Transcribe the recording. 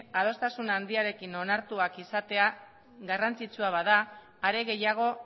adostasun handiarekin onartuak izatea garrantzitsua bada are gehiago